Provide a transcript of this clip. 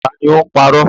Ta ni ó ń parọ́?